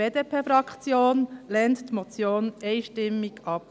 Die BDP-Fraktion lehnt die Motion einstimmig ab.